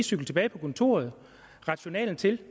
cykle tilbage til kontoret rette journalen til